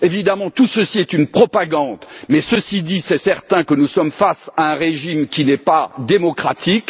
Évidemment, tout ceci est une propagande mais, ceci dit, il est certain que nous sommes face à un régime qui n'est pas démocratique.